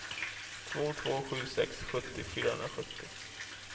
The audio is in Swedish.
två två sju sex sjuttio fyrahundrasjuttio